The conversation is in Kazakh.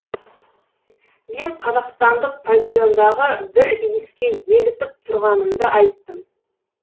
мен қазақстандық павильондағы бір иіске елітіп тұрғанымды айттым